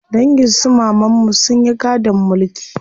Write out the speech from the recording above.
Dangin su mamanmu sun yi gadon mulki.